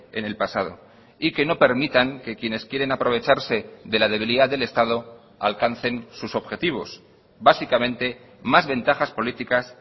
en el pasado y que no permitan que quienes quieren aprovecharse de la debilidad del estado alcancen sus objetivos básicamente más ventajas políticas